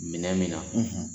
Minɛn min na